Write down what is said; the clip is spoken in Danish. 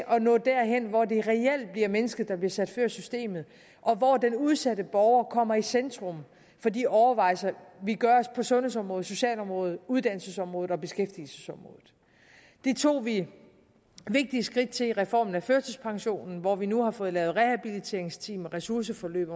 at nå derhen hvor det reelt bliver mennesket der bliver sat før systemet og hvor den udsatte borger kommer i centrum for de overvejelser vi gør os på sundhedsområdet socialområdet uddannelsesområdet og beskæftigelsesområdet det tog vi vigtige skridt til i reformen af førtidspensionen hvor vi nu har fået lavet rehabiliteringsteam og ressourceforløb